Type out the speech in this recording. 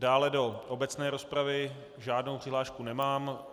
Dále do obecné rozpravy žádnou přihlášku nemám.